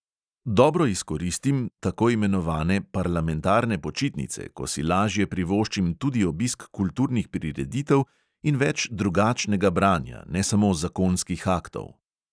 Dobro izkoristim tako imenovane parlamentarne počitnice, ko si lažje privoščim tudi obisk kulturnih prireditev in več drugačnega branja, ne samo zakonskih aktov.